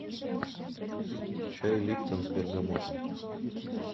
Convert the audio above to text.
чай липтон с бергамотом